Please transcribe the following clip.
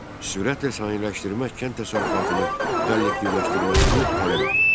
Sürətlə sənayeləşdirmək kənd təsərrüfatını kollektivləşdirməsini tələb edirdi.